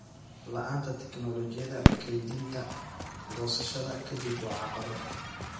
La'aanta tignoolajiyada kaydinta goosashada ka dib waa caqabad.